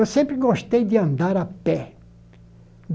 Eu sempre gostei de andar a pé.